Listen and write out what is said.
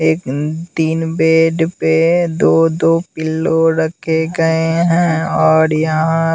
एक तीन बेड पे दो-दो पिल्लो रखे गए हैं और यहाँ --